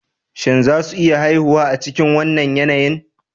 Shin za su iya haihuwa a cikin wannan yanayin?